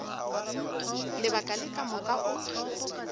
lebaka le ka moka o